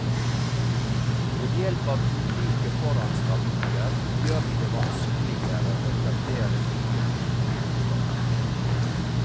Ved hjelp av ulike foranstaltninger gjør de det vanskeligere å etablere nye flyktningemottak.